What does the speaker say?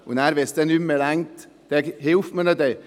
Wenn es nicht mehr ausreicht, hilft man ihnen dann.